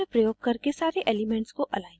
मैंने निम्न प्रयोग करके सारे elements को अलाइन किया है